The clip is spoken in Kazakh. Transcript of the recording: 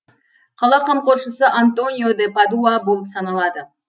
қала қамқоршысы антонио де падуа болып саналады